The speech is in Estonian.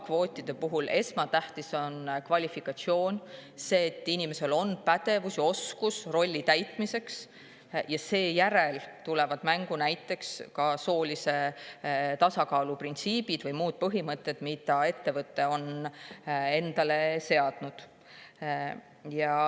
Ka kvootide puhul on esmatähtis kvalifikatsioon, see, et inimesel on pädevus ja oskus rolli täitmiseks, seejärel tuleb mängu soolise tasakaalu printsiip või muud põhimõtted, mida ettevõte on endale seadnud.